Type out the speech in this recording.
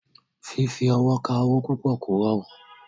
Fífi ọwọ́ ka owó púpọ̀ kò rọrùn.